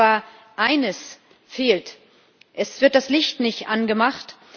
Aber eines fehlt Es wird das Licht nicht angemacht.